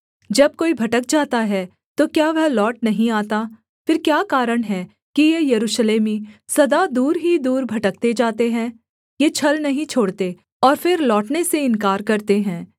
जब कोई भटक जाता है तो क्या वह लौट नहीं आता फिर क्या कारण है कि ये यरूशलेमी सदा दूर ही दूर भटकते जाते हैं ये छल नहीं छोड़ते और फिर लौटने से इन्कार करते हैं